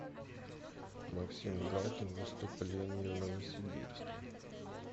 максим галкин выступление в новосибирске